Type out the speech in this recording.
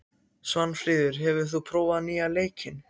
Svanfríður, hefur þú prófað nýja leikinn?